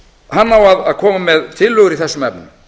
hann á að koma með tillögur í þessum efnum